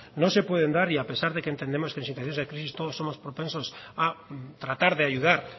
no se pueden dar y a pesar de que entendemos que en situaciones de crisis todos somos propensos a tratar de ayudar